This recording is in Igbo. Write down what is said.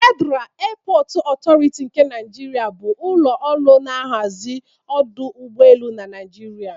Federa Eepọt Ọtọriti nke Naịjrịa bụ ụlọ ọrụ na-ahazi ọdụ ụgbọelu na Naịjirịa